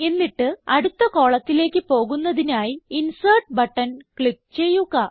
എന്നിട്ട് അടുത്ത കോളത്തിലേക്ക് പോകുന്നതിനായി ഇൻസെർട്ട് ബട്ടൺ ക്ലിക്ക് ചെയ്യുക